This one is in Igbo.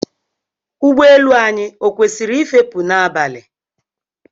Ụgbọ elu anyị ọ kwesịrị ị fepụ n'abalị?